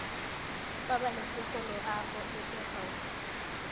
pabalesego loago e e gaufi